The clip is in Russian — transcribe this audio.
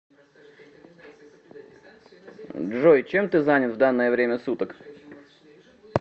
джой чем ты занят в данное время суток